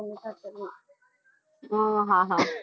અમ હા હા.